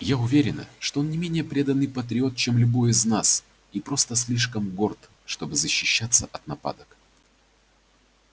я уверена что он не менее преданный патриот чем любой из нас и просто слишком горд чтобы защищаться от нападок